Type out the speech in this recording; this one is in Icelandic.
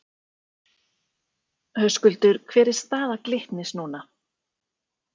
Höskuldur: Hver er staða Glitnis núna?